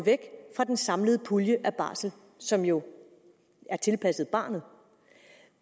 fra den samlede pulje af barsel som jo er tilpasset barnet